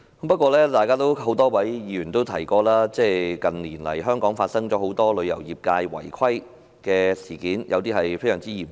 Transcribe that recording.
不過，多位議員也提到，香港近年發生旅遊業界的多宗違規事件，有些甚至非常嚴重。